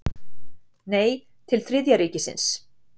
Nei, til Þriðja ríkisins.